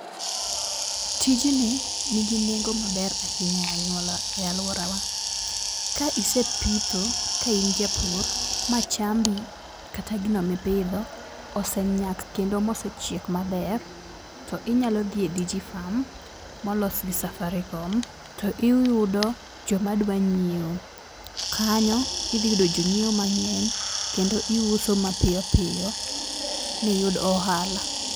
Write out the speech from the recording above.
Tijni nigi nengo maber ahinya e aluorawa. Ka isepitho ka in japur machambi kata gino mipidho osenyak kendo mosechiek maber to inyalodhi e Digi farm molos gi Safaricom to iyudo jomadwa nyiewo. Kanyo idhi yudo jonyiewo mang'eny kendo iuso piyo piyo miyud ohala.